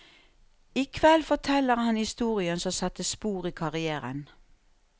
I kveld forteller han historien som satte spor i karrièren.